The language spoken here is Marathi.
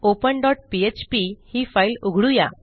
ओपन डॉट पीएचपी ही फाईल उघडू या